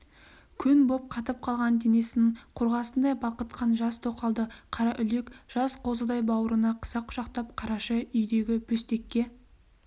көн боп қатып қалған денесін қорғасындай балқытқан жас тоқалды қараүлек жас қозыдай бауырына қыса құшақтап қараша үйдегі бөстекке